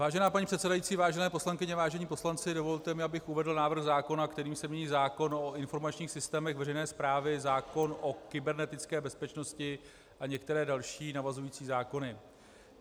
Vážená paní předsedající, vážené poslankyně, vážení poslanci, dovolte mi, abych uvedl návrh zákona, kterým se mění zákon o informačních systémech veřejné správy, zákon o kybernetické bezpečnosti a některé další navazující zákony.